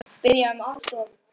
Biðja um aðstoð!